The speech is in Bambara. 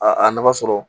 A a nafa sɔrɔ